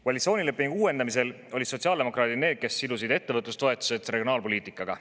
Koalitsioonilepingu uuendamisel olid sotsiaaldemokraadid need, kes sidusid ettevõtlustoetused regionaalpoliitikaga.